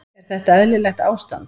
Er þetta eðlilegt ástand?